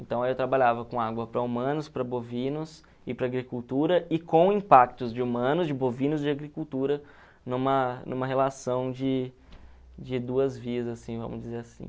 Então aí eu trabalhava com água para humanos, para bovinos e para agricultura e com impactos de humanos, de bovinos e de agricultura numa numa relação de de duas vias, assim, vamos dizer assim.